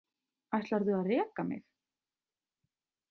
Ætlarðu að reka mig?